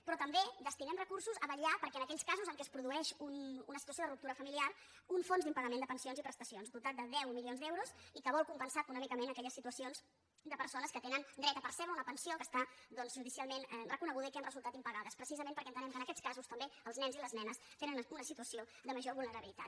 però també destinem recursos a vetllar perquè en aquells casos en què es produeix una situació de ruptura familiar un fons d’impagament de pensions i prestacions dotat de deu milions d’euros i que vol compensar econòmicament aquelles situacions de persones que tenen dret a percebre una pensió que està doncs judicialment reconeguda i que ha resultat impagada precisament perquè entenem que en aquests casos també els nens i les nenes tenen una situació de major vulnerabilitat